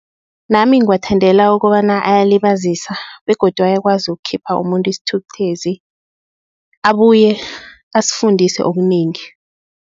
Nami ngiwathandela ukobana ayalibazisa begodu, ayakwazi ukukhipha umuntu isithukuthezi abuye asifundise okunengi.